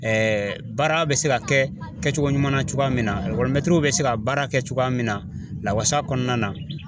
baara bɛ se ka kɛ kɛcogo ɲuman na cogoya min na bɛ se ka baara kɛ cogoya min na lawasa kɔnɔna na.